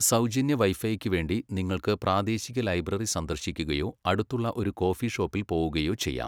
സൗജന്യ വൈഫൈക്കുവേണ്ടി നിങ്ങൾക്ക് പ്രാദേശിക ലൈബ്രറി സന്ദർശിക്കുകയോ അടുത്തുള്ള ഒരു കോഫി ഷോപ്പിൽ പോകുകയോ ചെയ്യാം.